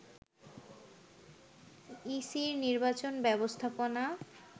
ইসির নির্বাচন ব্যবস্থাপনা